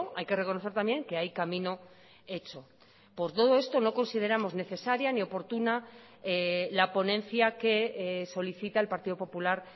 hay que reconocer también que hay camino hecho por todo esto no consideramos necesaria ni oportuna la ponencia que solicita el partido popular